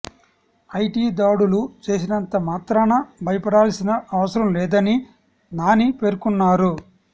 IT దాడులు చేసినంత మాత్రాన భయపడాల్సిన అవసరం లేదని నాని పేర్కొన్నారు